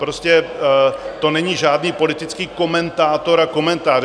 Prostě to není žádný politický komentátor a komentář.